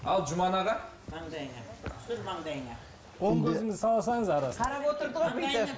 ал жұман аға маңдайыңа түсір маңдайыңа